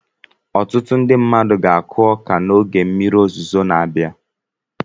Ọtụtụ mmadụ ga-akụ ọka n'oge mmiri ozuzo na-abịa.